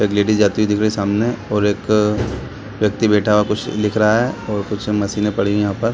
एक लेडीज़ जाती दिख रही है सामने और एक व्यक्ति बैठा हुआ कुछ लिख रहा है और कुछ मशीनें पड़ी हुई हैं यहाँ पर --